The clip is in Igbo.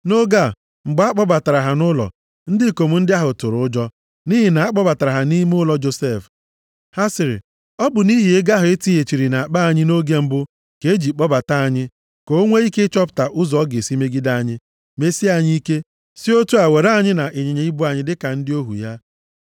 Nʼoge a, mgbe a kpọbatara ha nʼụlọ, ndị ikom ndị ahụ tụrụ ụjọ, nʼihi na a kpọbatara ha nʼime ụlọ Josef. Ha sịrị, “Ọ bụ nʼihi ego ahụ e tighachiri nʼakpa anyị nʼoge mbụ ka e ji kpọbata anyị, ka o nwee ike ịchọta ụzọ ọ ga-esi megide anyị, mesie anyị ike, si otu a were anyị na ịnyịnya ibu anyị dịka ndị ohu ya.”